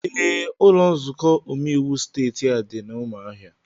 Ee, ụlọ nzukọ omeiwu steeti a dị n'ụmụahia